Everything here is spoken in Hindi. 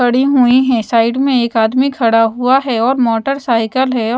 पड़ी हुई हैं साइड में एक आदमी खड़ा हुआ है और मोटरसाइकिल है औ--